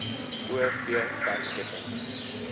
o v werkskepping